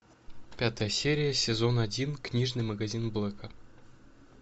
пятая серия сезон один книжный магазин блэка